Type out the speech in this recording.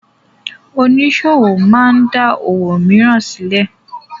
Oníṣòwò máa da òwò mìíràn sílẹ̀.